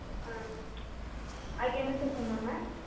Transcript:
உம் அதுக்கு என்ன sir சொன்னாங்க